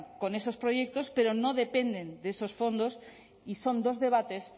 con esos proyectos pero no dependen de esos fondos y son dos debates